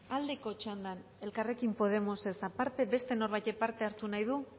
aldeko txandan elkarrekin podemosek aparte beste norbaitek parte hartu nahi du